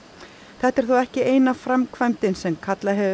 þetta er þó ekki eina framkvæmdin sem kallað hefur